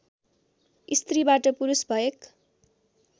स्त्रीबाट पुरुष भएक